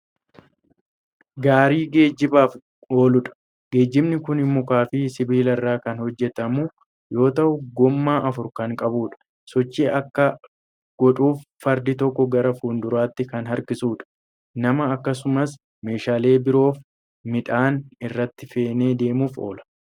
Gaarii geejjibaaf ooludha. Geejjibni kuni mukaafi sibiilarraa kan hojjatamu yoo ta'u gommaa afur kan qabuudha. Sochii akka godhuuf fardi tokko gara fuulduraatti kan harkisuudha. Nama akkasumas meeshaaleen biroofi midhaan irratti feenee deemuuf oola.